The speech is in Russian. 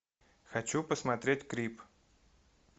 хочу посмотреть крип